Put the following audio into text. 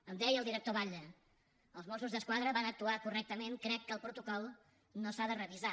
em deia el director batlle els mossos d’esquadra van actuar correctament crec que el protocol no s’ha de revisar